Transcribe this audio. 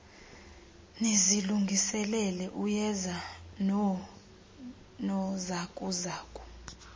nizilungiselele uyeza noonozakuzaku